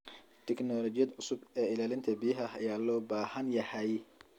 Tignoolajiyada cusub ee ilaalinta biyaha ayaa loo baahan yahay.